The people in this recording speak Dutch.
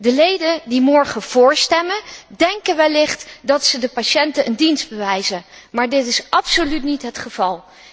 De leden die morgen vóór stemmen, denken wellicht dat ze de patiënten een dienst bewijzen, maar dat is absoluut niet het geval.